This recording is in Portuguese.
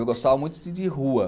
Eu gostava muito de de rua.